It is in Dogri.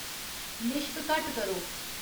लिश्क घट्ट करो